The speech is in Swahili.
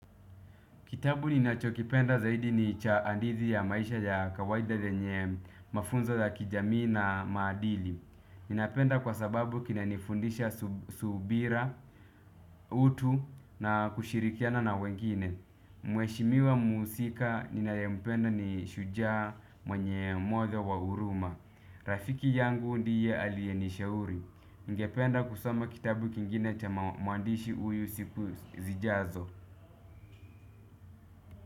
Kitabu ninachokipenda zaidi ni cha andizi ya maisha ya kawaida zenye mafunzo ya kijamii na maadili. Ninapenda kwa sababu kina nifundisha subira, utu na kushirikiana na wengine. Mweshimiwa muusika ninayempenda ni shujaa mwenye mwodha wa uruma. Rafiki yangu ndiye aliye nishauri. Ngependa kusoma kitabu kingine cha muandishi uyu siku zijazo.